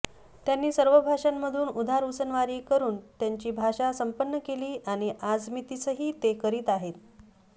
त्यांनी सर्व भाषांमधून उधारउसनवारी करून त्यांची भाषा संपन्न केली आणि आजमितीसही ते करीत आहेत